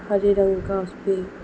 हरी रंग घास पे--